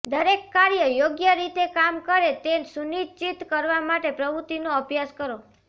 દરેક કાર્ય યોગ્ય રીતે કામ કરે તે સુનિશ્ચિત કરવા માટે પ્રવૃત્તિનો અભ્યાસ કરો